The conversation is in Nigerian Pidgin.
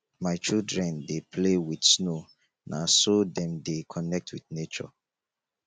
my children dey play wit snow na so dem dey connect wit nature